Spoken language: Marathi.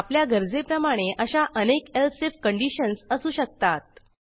आपल्या गरजेप्रमाणे अशा अनेक एलसिफ कंडिशन्स असू शकतात